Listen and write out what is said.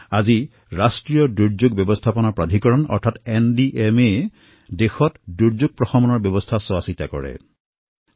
আজি national disaster management authority অৰ্থাৎ NDMA য়ে দেশত দুৰ্যোগ ব্যৱস্থাপনাত অগ্ৰণী ভূমিকা গ্ৰহণ কৰিছে